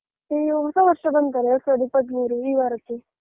ಅಯ್ಯೋ ಹೊಸ ವರ್ಷ ಬಂತಲ್ಲ ಎರಡು ಸಾವಿರದ ಇಪ್ಪತ್ತು ಮೂರೂ ಈ ವಾರಕ್ಕೆ.